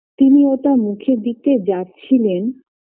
তিনি ওটা মুখে দিতে যাচ্ছিলেন